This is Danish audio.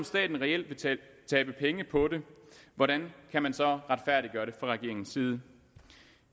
staten reelt vil tabe penge på det hvordan kan man så retfærdiggøre det fra regeringens side